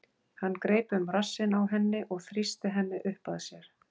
Hann greip um rassinn á henni og þrýsti henni upp að sér.